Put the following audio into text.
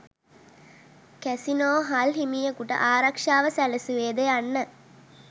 casino hall හිමියකුට ආරක්ෂාව සැලසුවේද යන්න